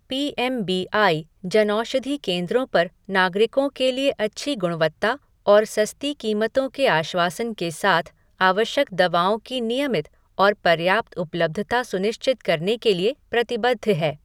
P M B I Janaushadhi केंद्रों पर नागरिकों के लिए अच्छी गुणवत्ता और सस्ती कीमतों के आश्वासन के साथ आवश्यक दवाओं की नियमित और पर्याप्त उपलब्धता सुनिश्चित करने के लिए प्रतिबद्ध है।